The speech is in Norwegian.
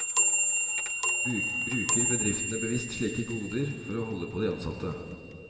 Bruker bedriftene bevisst slike goder for å holde på de ansatte?